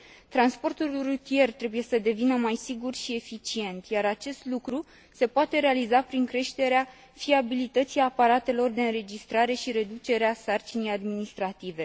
Transportul rutier trebuie să devină mai sigur și eficient, iar acest lucru se poate realiza prin creșterea fiabilității aparatelor de înregistrare și reducerea sarcinii administrative.